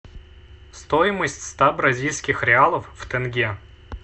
стоимость ста бразильских реалов в тенге